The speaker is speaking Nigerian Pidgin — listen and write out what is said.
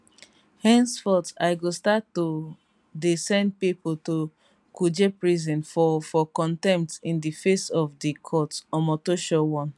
henceforth i go start to dey send pipo to kuje prison for for contempt in di face of di court omotosho warn